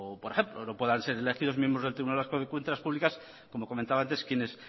por ejemplo no puedan ser elegidos miembros del tribunal vasco de cuentas públicas como comentaba antes quienes